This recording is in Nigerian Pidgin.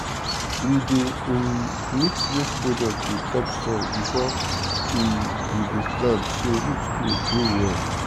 we dey um mix waste product with topsoil before um we go plant so root go grow well.